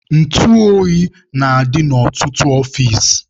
Ntụ oyi na-adị na ọtụtụ ọfici.